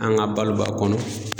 An ka balo b'a kɔnɔ.